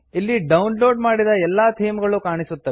ಇಲ್ಲಿ download ಮಾಡಿದ ಎಲ್ಲಾ ಥೀಮ್ ಗಳು ಕಾಣಸಿಗುತ್ತವೆ